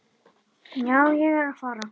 Já, ég er að fara.